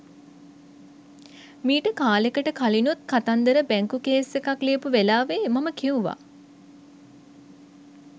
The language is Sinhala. මීට කාලෙකට කලිනුත් කතන්දර බැංකු කේස් එකක් ලියපු වෙලාවේ මම කිව්වා